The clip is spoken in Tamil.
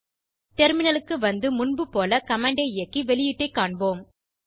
டெர்மினலுக்கு வந்து முன்புபோல கமாண்ட் ஐ இயக்கி வெளியீட்டை காண்போம்